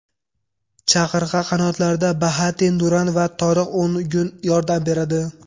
Chaqirga qanotlarda Bahattin Duran va Toriq O‘ngun yordam beradi.